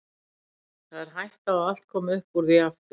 Það er hætta á að allt komi upp úr því aftur.